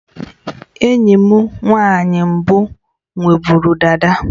Enyi m nwanyị mbụ nwe bụrụ dada